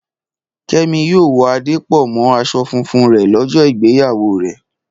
Kẹ́mi yóò wọ adé pọ̀ mọ́ aṣọ funfun rẹ̀ lọ́jọ́ ìgbéyàwó rẹ̀